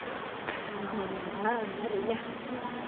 എങ്ങ എന്താ ഒന്നും അറിയില്ല.